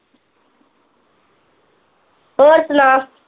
ਹੋਰ ਸੁਣਾ